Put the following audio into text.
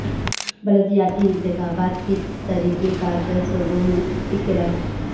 بلدیاتی انتخابات کے طریقہ کار پر صوبوں میں اختلاف